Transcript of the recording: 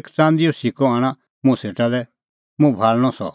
एक च़ंदीओ सिक्कअ आणा मुंह सेटा लै मुंह भाल़णअ सह